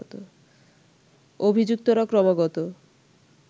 অভিযুক্তরা ক্রমাগত